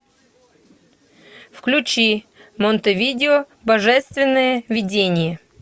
включи монтевидео божественное видение